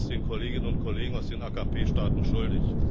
Wir sind es den Kolleginnen und Kollegen aus den AKP Staaten schuldig.